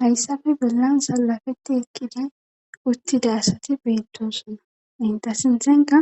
hayssabe belansa lafeti ekkida uttida asati beettoosona intasinthenka